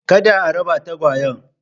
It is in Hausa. Kada a raba tagawyen.